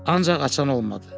Ancaq açan olmadı.